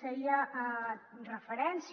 feia referència